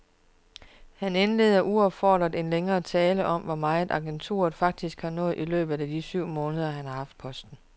Han indleder uopfordret en længere tale om, hvor meget agenturet faktisk har nået i løbet af de syv måneder, han har haft posten.